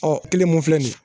Ɔ kelen mun filɛ nin ye